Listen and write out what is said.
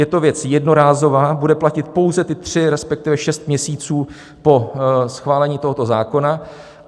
Je to věc jednorázová, bude platit pouze ty tři, respektive šest měsíců po schválení tohoto zákona.